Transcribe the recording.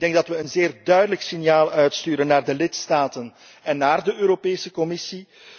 Ik denk dat wij een zeer duidelijk signaal uitsturen naar de lidstaten en naar de Europese Commissie.